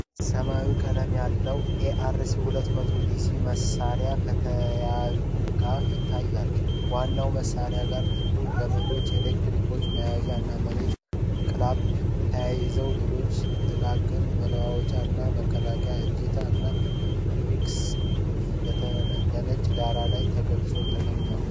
ሰማያዊ ቀለም ያለው ARC-200 ዲሲ መሣሪያ ከነተያያዥ ዕቃዎቹ ይታያል። ከዋናው መሣሪያ ጋር ጥቁር ገመዶች፣ ኤሌክትሮድ መያዣ እና የመሬት ክላምፕ ተያይዘዋል። ሌሎች ጥቃቅን መለዋወጫዎች እንደ መከላከያ እጀታ እና የሄክስ ቁልፎች በነጭ ዳራ ላይ በግልጽ ተቀምጠዋል።